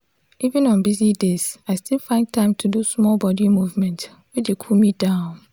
even on busy days i still find time do small body movement wey dey cool me down.